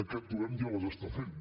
aquest govern ja les està fent